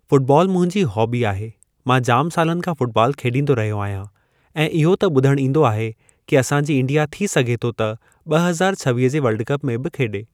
Football मुंहिंजी hobby आहे, मां जाम सालनि खां फु़टबॉल खेॾींदो रहियो आहियां ऐं इहो त ॿुधणु ईंदो आहे कि असांजी इंडिया थी सघे थो त ॿ हज़ार छवीह जे वर्ल्ड कप में बि खेॾे।